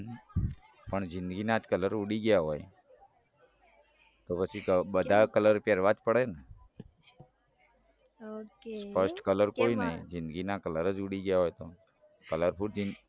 પણ જિંદગીના જ colour ઉડી ગયા હોય તો પછી બધા colour પેરવા જ પડે ને ok સ્પષ્ટ colour કોઈ નઈ જિંદગી ના colour જ ઉડી ગયા હોય તો colourful જિંદગી